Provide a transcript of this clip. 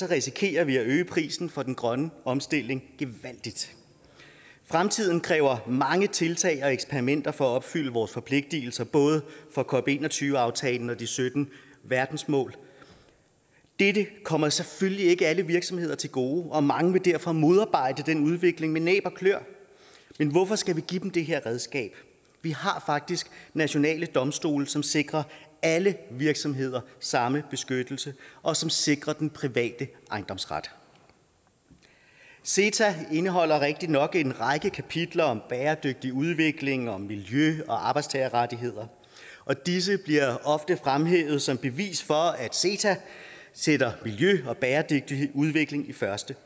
risikerer vi at øge prisen for den grønne omstilling gevaldigt fremtiden kræver mange tiltag og eksperimenter for at opfylde vores forpligtelser både for cop21 aftalen og de sytten verdensmål dette kommer selvfølgelig ikke alle virksomheder til gode og mange vil derfor modarbejde den udvikling med næb og kløer men hvorfor skal vi give dem det her redskab vi har faktisk nationale domstole som sikrer alle virksomheder samme beskyttelse og som sikrer den private ejendomsret ceta indeholder rigtigt nok en række kapitler om bæredygtig udvikling om miljø og arbejdstagerrettigheder og disse bliver ofte fremhævet som bevis for at ceta sætter miljø og bæredygtig udvikling i første